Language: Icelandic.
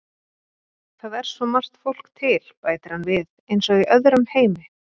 Það er svo margt fólk til, bætir hann við, eins og í öðrum heimi.